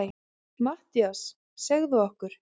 MATTHÍAS: Segðu okkur.